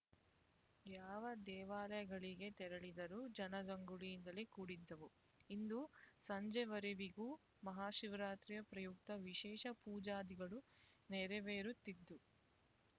ಯಾವ ದೇವಾಲಯಗಳಿಗೆ ತೆರಳಿದರೂ ಜನಜಂಗುಳಿಯಿಂದಲೇ ಕೂಡಿದ್ದವು ಇಂದು ಸಂಜೆವರೆವಿಗೂ ಮಹಾಶಿವರಾತ್ರಿ ಪ್ರಯುಕ್ತ ವಿಶೇಷ ಪೂಜಾದಿಗಳು ನೆರವೇರುತ್ತಿದ್ದು